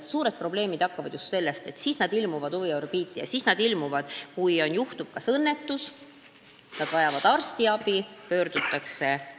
Suured probleemid noortega hakkavad siis, kui on juhtunud õnnetus, kui nad vajavad arstiabi – siis nad ilmuvad huviorbiiti.